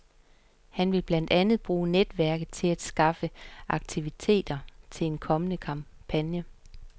Han vil blandt andet bruge netværket til at skaffe aktivister til sin kommende kampagne.